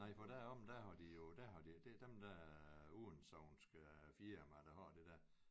Nej for deromme der har de jo der har de det dem der udensognske firma der har det der